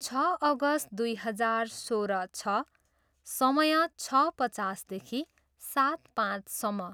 छ अगस्त दुई हजार सोह्र छ, समय, छ पचासदेखि सात पाँचसम्म।